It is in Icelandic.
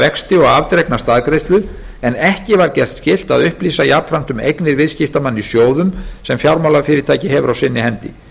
vexti og afdregna staðgreiðslu en ekki var gert skylt að upplýsa jafnframt um eignir viðskiptamanna í sjóðum sem fjármálafyrirtæki hefur á sinni hendi